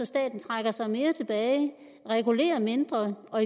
staten trækker sig mere tilbage regulerer mindre og